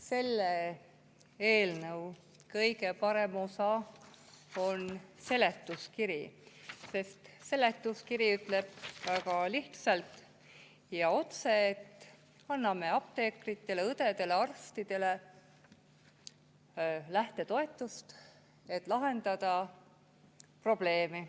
Selle eelnõu kõige parem osa on seletuskiri, sest seletuskiri ütleb väga lihtsalt ja otse, et anname apteekritele, õdedele ja arstidele lähtetoetust, et lahendada probleemi.